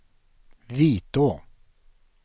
Vitå